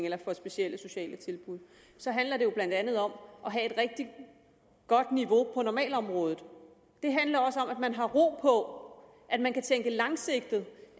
eller for specielle sociale tilbud handler det jo blandt andet om at have et rigtig godt niveau på normalområdet det handler også om at man har ro på at man kan tænke langsigtet